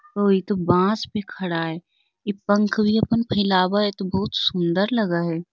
ओ इ तो बॉस पे खड़ा हई | इ पंख भी आपन फेलाव हई तो बहुत सुन्दर लग हई |